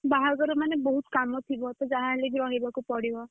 ବାହାଘର ମାନେ ବୋହୂତ କାମ ଥିବ। ତ ଯାହା ହେଲେ ବି ରହିବାକୁ ପଡିବ।